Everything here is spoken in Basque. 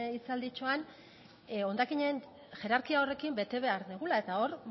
hitzalditxoan hondakinen hierarkia horrekin bete behar dugula eta hor